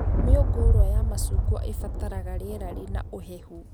Mĩũngũrwa ya macungwa ĩbataraga rĩera rĩna ũhehu